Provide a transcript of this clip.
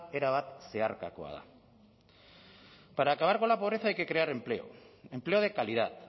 erabat zeharkakoa da para acabar con la pobreza hay que crear empleo empleo de calidad